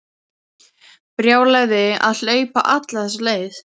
Brjálæði að hlaupa alla þessa leið.